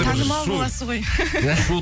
танымал боласыз ғой